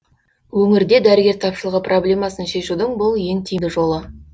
өңірде дәрігер тапшылығы проблемасын шешудің бұл ең тиімді жолы